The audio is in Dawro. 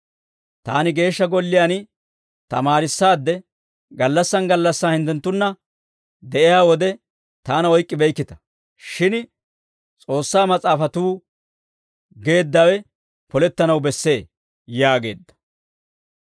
Taani Geeshsha Golliyaan tamaarissaadde, gallassan gallassan hinttenttunna de'iyaa wode taana oyk'k'ibeykkita; shin S'oossaa Mas'aafatuu geeddawe polettanaw bessee» yaageedda.